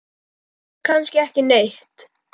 Bíður kannski ekki neitt?